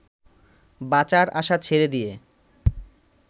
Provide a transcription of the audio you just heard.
বাঁচার আশা ছেড়ে দিয়ে